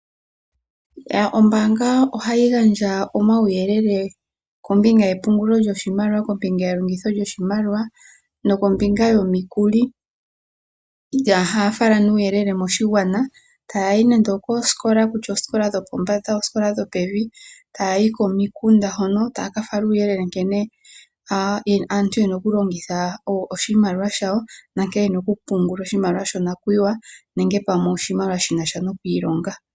Ombaanga ohadhi gandja omauyelele kombinga yepungulo lyoshomaliwa, elongitho lyoshimaliwo oshowo kombinga yomikuli. Ohadhi fala nee uuyelele koshigwana ngaashi oku ya koosikola dhopombanda nodhopevi oshowo omahala galwe, ohaya gandja nee uuyele kombinga ya nkene aantu ye na okulongitha nokupungula oshimaliwa shonakuyiwa ngaashi shokwiilonga.